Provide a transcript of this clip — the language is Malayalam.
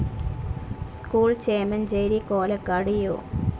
School, Chemancheri Kolakkad U.